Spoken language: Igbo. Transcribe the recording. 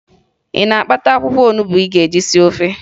Ị na-akpata akwụkwọ onubo ị ga-eji sie ofe?